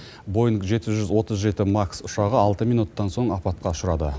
боинг жеті жүз отыз жеті макс ұшағы алты минуттан соң апатқа ұшырады